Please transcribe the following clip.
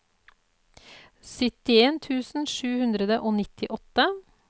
syttien tusen sju hundre og nittiåtte